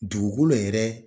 Dugukolo yɛrɛ